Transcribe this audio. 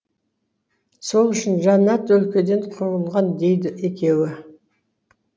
сол үшін жаннат өлкеден қуылған дейді екеуі